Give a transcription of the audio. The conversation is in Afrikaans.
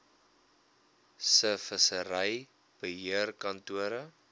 se vissery beheerkantore